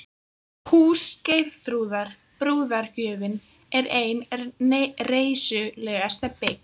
Hús Geirþrúðar, brúðargjöfin, er ein reisulegasta bygg